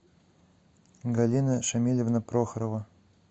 галина шамильевна прохорова